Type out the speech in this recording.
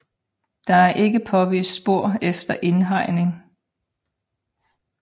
Der er ikke påvist spor efter indhegning